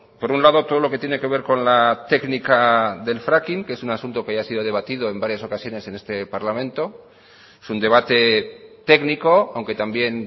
por un lado todo lo que tiene que ver con la técnica del fracking que es un asunto que ya ha sido debatido en varias ocasiones en este parlamento es un debate técnico aunque también